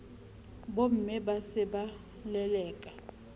bomme ba se ba leleka